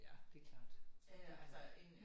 Ja det klart det klart